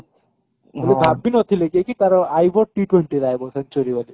ମୁଁ ଭାବି ନଥିଲି କି ତାର T twenty ରେ ଆଇବ century ବୋଲି